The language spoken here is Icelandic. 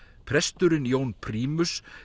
presturinn Jón prímus